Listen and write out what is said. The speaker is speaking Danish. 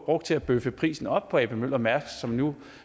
brugt til at bøffe prisen op på ap møller mærsk som nu